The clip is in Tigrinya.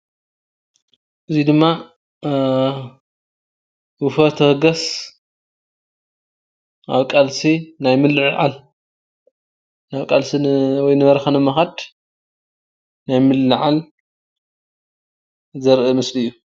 እዚ ድማ ውፈር ተበገስ ኣብ ቓልሲ ናይ ምልዓዓል ኣብ ቃልሲ ወይ ንበረካ ንምክድ ናይ ምልዓዓል ዘርኢ ምስሊ እዩ።